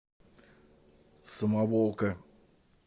самоволка